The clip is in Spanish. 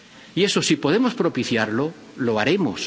Y eso, si podemos propiciarlo, lo haremos.